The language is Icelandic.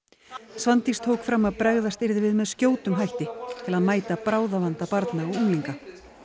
Svandís tók fram að bregðast yrði við með skjótum hætti til að mæta bráðavanda barna og unglinga